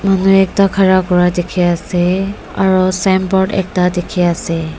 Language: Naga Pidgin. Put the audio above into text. manu ekta khara kura dikhiase aro signboard ekta dikhiase.